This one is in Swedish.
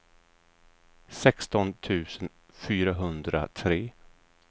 sexton tusen fyrahundratre